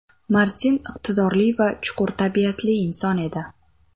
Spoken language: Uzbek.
Martin iqtidorli va chuqur tabiatli inson edi.